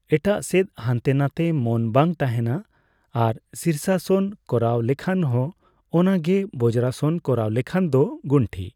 ᱮᱴᱟᱜ ᱥᱮᱫ ᱦᱟᱱᱛᱮᱼᱱᱟᱛᱮ ᱢᱚᱱ ᱵᱟᱝ ᱛᱟᱦᱮᱱᱟ᱾ ᱟᱨ ᱥᱤᱨᱥᱟᱥᱚᱱ ᱠᱚᱨᱟᱣ ᱞᱮᱠᱷᱟᱱ ᱦᱚᱸ ᱚᱱᱟᱜᱮ᱾ ᱵᱚᱡᱨᱟᱥᱚᱱ ᱠᱚᱨᱟᱣ ᱞᱮᱠᱷᱟᱱ ᱫᱚ ᱜᱩᱱᱴᱷᱤ